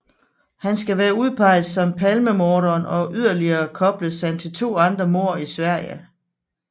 Han skal være udpeget som palmemorderen og yderligere kobles han til to andre mord i Sverige